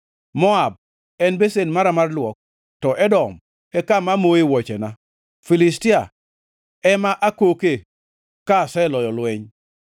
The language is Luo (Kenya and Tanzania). Moab en besen mara mar luok, to Edom e kama amoe wuochena; Filistia ema akoke ka aseloyo lweny.”